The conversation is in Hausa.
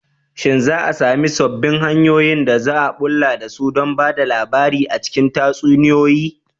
Shin za a sami sababbin hanyoyin da za a bullo da su don ba da labari a cikin tatsuniyoyi?